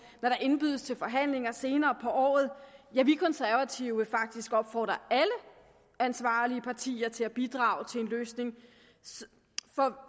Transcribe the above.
når der indbydes til forhandlinger senere på året ja vi konservative vil faktisk opfordre alle ansvarlige partier til at bidrage til en løsning